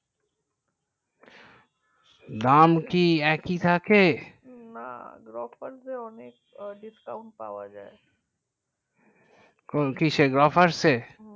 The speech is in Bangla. দাম কি একই থেকে না Grofers অনেক discount পাওয়া যাই কোন কিসে Grofers এ